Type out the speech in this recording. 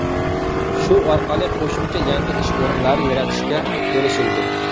Shu orqali qo‘shimcha yangi ish o‘rinlari yaratishga erishildi.